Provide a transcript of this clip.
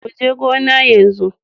Mu je gona yanzu.